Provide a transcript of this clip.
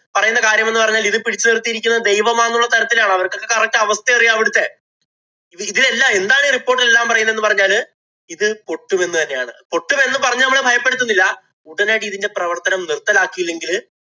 പറയുന്ന കാര്യം എന്ന് പറഞ്ഞാല്‍ ഇത് പിടിച്ച് നിര്‍ത്തിയിരിക്കുന്നത് ദൈവമാണെന്നുള്ള തരത്തിലാണ്. അവര്‍ക്കൊക്കെ correct അവസ്ഥയറിയാം അവിടത്തെ. ഇതിലെല്ലാം എന്താണ് ഈ report ഇലെല്ലാം പറയുന്നതെന്ന് പറഞ്ഞാല് ഇത് പൊട്ടുമെന്ന് തന്നെയാണ്. പൊട്ടുമെന്ന് പറഞ്ഞു നമ്മളെ ഭയപ്പെടുത്തുന്നില്ല. ഉടനടി ഇതിന്‍റെ പ്രവര്‍ത്തനം നിര്‍ത്തലാക്കിയില്ലെങ്കില്